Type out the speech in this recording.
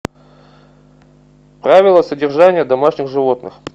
правила содержания домашних животных